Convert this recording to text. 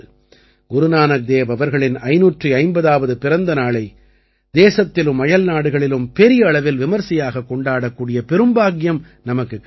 குரு நானக் தேவ் அவர்களின் 550ஆவது பிறந்த நாளை தேசத்திலும் அயல்நாடுகளிலும் பெரிய அளவில் விமரிசையாகக் கொண்டாடக் கூடிய பெரும் பாக்கியம் நமக்குக் கிடைத்தது